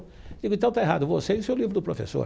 Digo, então está errado você e o seu livro do professor.